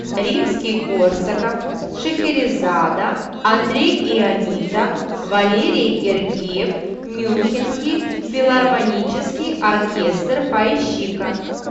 римский корсаков шахерезада андрей ионита валерий гергиев мюнхенский филармонический оркестр поищи ка